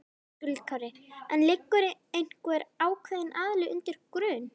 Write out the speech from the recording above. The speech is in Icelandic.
Höskuldur Kári: En liggur einhver ákveðin aðili undir grun?